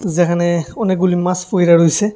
জেহানে অনেকগুলি মাস পইড়া রইসে।